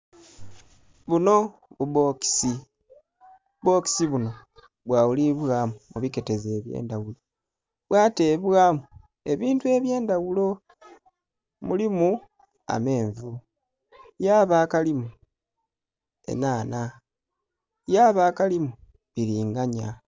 Bunho bubbokisi, obubbokisi bunho bwaghulibwamu mu biketezo eby'endhaghulo bwatebwamu ebintu eby'endhaghulo. Mulimu amenvu, yaaba akalimu enhanha, yaaba akalimu bbilinganya.